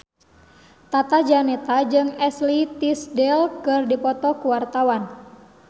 Tata Janeta jeung Ashley Tisdale keur dipoto ku wartawan